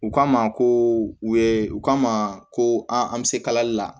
U k'a ma ko u ye u ka ma ko an bɛ se kalali la